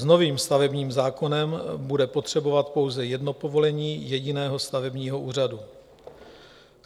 S novým stavebním zákonem bude potřebovat pouze jedno povolení jediného stavebního úřadu.